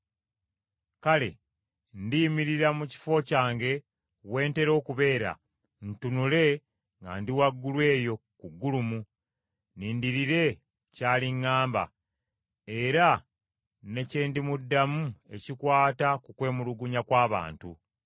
Kale ndiyimirira mu kifo kyange we ntera okubeera ntunule nga ndi waggulu eyo ku ggulumu nnindirire ky’aliŋŋamba, era ne kye ndimuddamu ekikwata ku kwemulugunya kw’abantu.